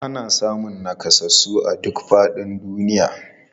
Ana samun nakasassu a duk faɗin duniya.